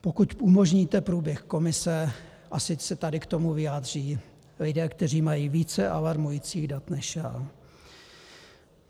Pokud umožníte průběh komise, ať se tady k tomu vyjádří lidé, kteří mají více alarmujících dat než já.